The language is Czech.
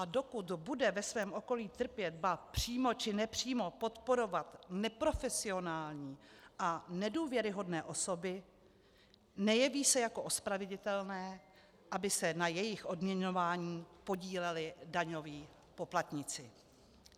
A dokud bude ve svém okolí trpět, ba přímo či nepřímo podporovat neprofesionální a nedůvěryhodné osoby, nejeví se jako ospravedlnitelné, aby se na jejich odměňování podíleli daňoví poplatníci.